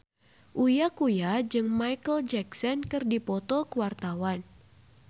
Uya Kuya jeung Micheal Jackson keur dipoto ku wartawan